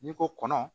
N'i ko kɔnɔ